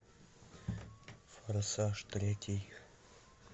форсаж третий